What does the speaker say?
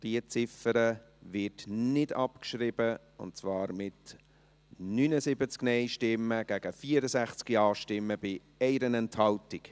Auch diese Ziffer wird nicht abgeschrieben, und zwar mit 79 Nein- zu 64 Ja-Stimmen bei 1 Enthaltung.